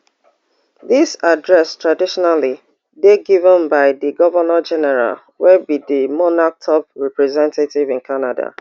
dis address traditionally dey given by di govnor general wey be di monarch top representative in canada